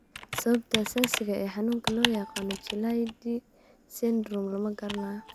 Sababta asaasiga ah ee xanuunka loo yaqaan 'Chilaiditi syndrome' lama garanayo.